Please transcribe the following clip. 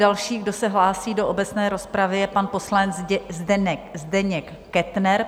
Další, kdo se hlásí do obecné rozpravy, je pan poslanec Zdeněk Kettner.